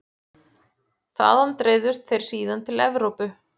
Þaðan dreifðust þeir síðan til Evrópu.